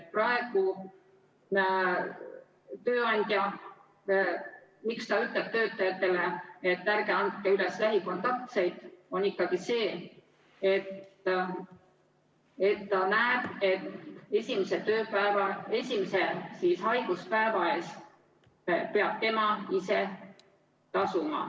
Praegu, miks tööandja ütleb töötajatele, et ärge andke üles lähikontaktseid, see, et ta näeb, et esimese haiguspäeva eest peab tema ise tasuma.